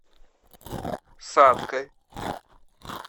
саткой